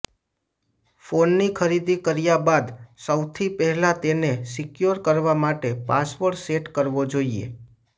ફોનની ખરીદી કર્યા બાદ સૌથી પહેલા તેને સિક્યોર કરવા માટે પાસવર્ડ સેટ કરવો જોઈએ